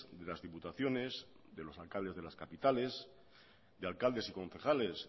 de las diputaciones de los alcaldes de las capitales de alcaldes y concejales